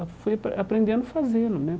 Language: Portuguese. Eu fui apren aprendendo fazendo, né?